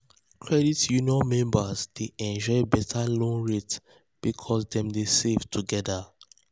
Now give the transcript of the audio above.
credit union members dey enjoy better loan rate because dem dey save together.